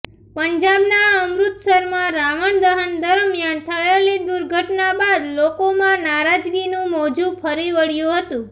પંજાબના અમૃતસરમાં રાવણ દહન દરમિયાન થયેલી દુર્ઘટના બાદ લોકોમાં નારાજગીનું મોજુ ફરી વળ્યું હતું